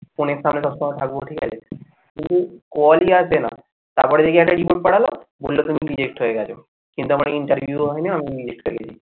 phone এর সামনে সব সময় থাকবো ঠিক আছে call ই আসে না তারপরে দেখি একটা report পাঠালো বললো তুমি reject হয়ে গেছো কিন্তু আমার আগে interview হয় নি আমি reject হয়ে গেছি।